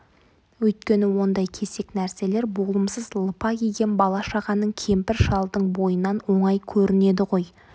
өйткені ондай кесек нәрселер болымсыз лыпа киген бала-шағаның кемпір-шалдың бойынан оңай көрінеді ғой